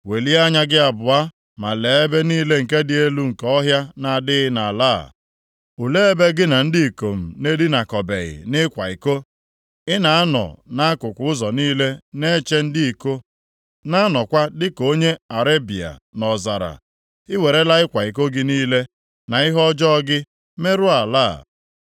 “Welie anya gị abụọ ma lee ebe niile nke dị elu nke ọhịa na-adịghị nʼala a, olee ebe gị na ndị ikom na-edinakọbeghị nʼịkwa iko? Ị na-anọ nʼakụkụ ụzọ niile na-eche ndị iko, + 3:2 Ya bụ, dịka nwanyị akwụna na-anọkwa dịka onye Arebịa + 3:2 Onye na-achịgharị anụ ụlọ nʼọzara. Ị werela ịkwa iko gị niile na ihe ọjọọ gị merụọ ala a.